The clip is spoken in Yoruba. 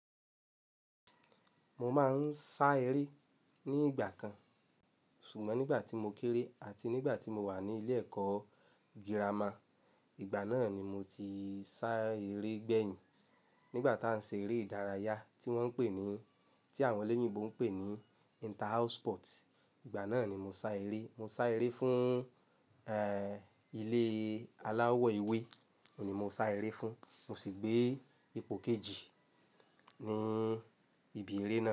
Mo máa ń sá eré ní ìgbà kan, ṣùgbọ́n nígbà tí mo kéré àti nígbà tí mo wà ní ilé ẹ̀kọ́ gírámà, ìgbà náà ni mo ti sá eré gbẹ̀yìn. Nígbà tí à ń ṣe eré ìdárayá tí wọ́n ń pè ní, tí àwọn olóyìnbo ń pè ní inter house sport, ìgbà náà ni mo sá eré. Mo sá eré fún, ẹ, ilé aláwọ̀ ewé ni mo sá eré fún. Mo sì gbé ipò kejì ní ibi eré náà.